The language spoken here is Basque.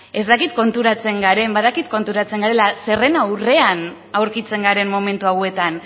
ez dakit konturatzen garen badakit konturatzen garela zeren aurrean aurkitzen garen momentu hauetan